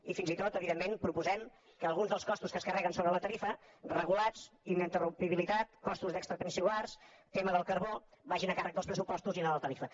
i fins i tot evidentment proposem que alguns dels costos que es carreguen sobre la tarifa regulats ininterrumpibilitat costos extrapeninsulars tema del carbó vagin a càrrec dels pressupostos i no de la tarifa